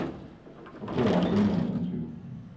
For få år siden var der ingen tvivl.